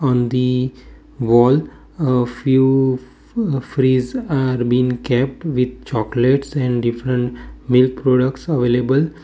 on the wall uh few f fridge are been kept with chocolates and different milk products available.